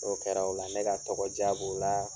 O kɛra o la ne ka tɔgɔ diya b'o laa